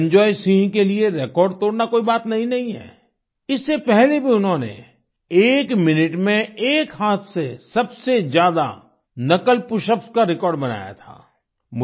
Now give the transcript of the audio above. निरंजॉय सिंह के लिए रिकॉर्ड तोड़ना कोई बात नयी नहीं है इससे पहले भी उन्होंने एक मिनट में एक हाथ से सबसे ज्यादा नकल पशअप्स का रिकॉर्ड बनाया था